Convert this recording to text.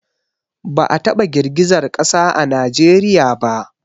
Ba a taba girgizar ƙasa a Najeriya ba